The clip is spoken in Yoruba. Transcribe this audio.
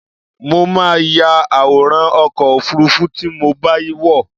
Mo máa ya àwòrán ọkọ̀-òfurufú tí mo bá wọ̀.